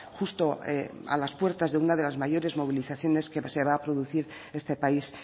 justo a las puertas de una de las mayores movilizaciones que se va a producir este país